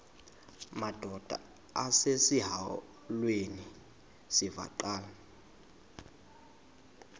madod asesihialweni sivaqal